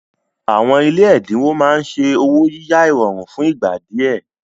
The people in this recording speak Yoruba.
Àwọn ilé ẹ̀dínwó máa ń ṣe ọwọ́ yíyá ìrọ̀rùn fún ìgbà díẹ̀